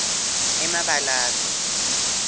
emabalave